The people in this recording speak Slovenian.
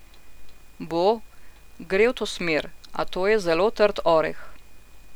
Bo, gre v to smer, a to je zelo trd oreh.